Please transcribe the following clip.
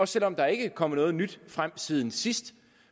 selv om der ikke er kommet noget nyt frem siden sidst